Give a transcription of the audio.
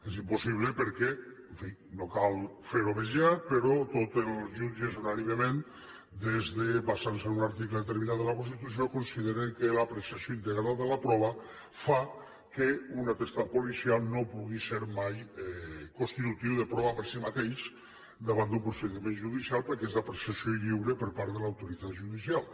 és impossible perquè en fi no cal fer ho més llarg però tots els jutges unànimement basant se en un ar ticle determinat de la constitució consideren que l’apreciació integral de la prova fa que una atestat policial no pugui ser mai constitutiu de prova per si mateix davant d’un procediment judicial perquè és l’ apreciació lliure per part de l’autoritat judicial